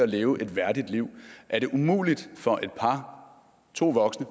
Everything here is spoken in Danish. at leve et værdigt liv er det umuligt for et par to voksne